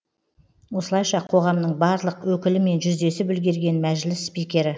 осылайша қоғамның барлық өкілімен жүздесіп үлгерген мәжіліс спикері